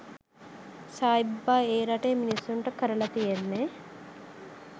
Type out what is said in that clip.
සයි බාබා ඒ රටේ මිනිස්සුන්ට කරල තියෙන්නෙ